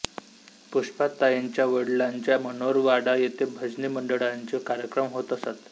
पुष्पाताईंच्या वडलांचे मनोर वाडा येथे भजनी मंडळाचे कार्यक्रम होत असत